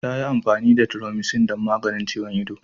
Ta yi amfani da Thromycin domin maganin ciwon ido.